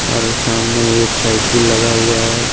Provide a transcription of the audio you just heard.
और सामने एक साईकिल लगा हुआ है।